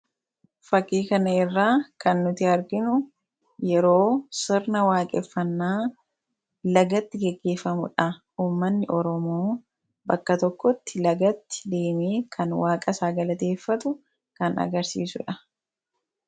Fakkii kana irraa kan nuti arginu, yeroo sirna waaqeffannaa lagatti gaggeeffamudha. Uummanni Oromoo bakka tokkotti lagatti deemee kan waaqa isaa galateeffatu kan agarsiisudha.